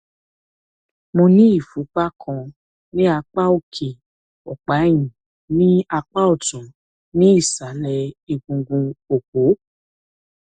mo ní ìfúnpá kan ní apá òkè ọpá ẹyìn ní apá ọtún ní ìsàlẹ egungun òpó